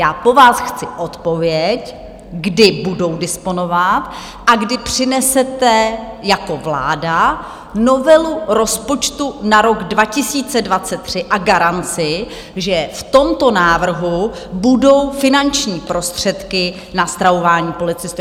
Já po vás chci odpověď, kdy budou disponovat a kdy přinesete jako vláda novelu rozpočtu na rok 2023 a garanci, že v tomto návrhu budou finanční prostředky na stravování policistů.